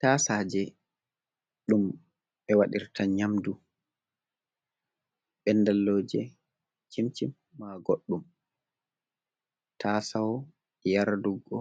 Tasaje ɗum ɓe waɗirta nyamdu ɓendalloje, kimcim e ma goɗɗum. Tasau, yardugo,